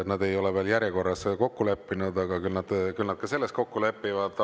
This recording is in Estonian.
Nad ei ole veel järjekorras kokku leppinud, aga küll nad ka selles kokku lepivad.